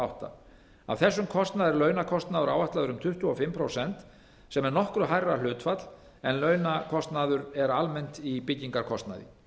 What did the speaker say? átta af þessum kostnaði er launakostnaður áætlaður um tuttugu og fimm prósent sem er nokkuð hærra en hlutfall en launakostnaður er almennt í byggingarkostnaði